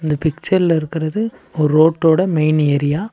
இந்த பிச்சர்ல இருக்கறது ஒரு ரோட்டோட மெயின் ஏரியா .